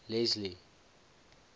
leslie